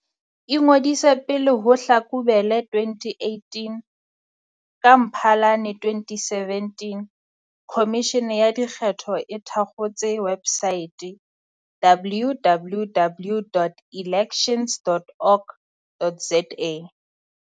Ingodise pele ho Hlakubele 2018 Ka Mphalane 2017, Khomishene ya Dikgetho e thakgotse websaete, www.elections.org.za.